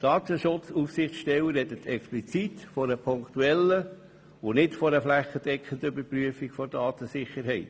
Die Datenschutzaufsichtsstelle spricht explizit von einer punktuellen und nicht einer flächendeckenden Überprüfung der Datensicherheit.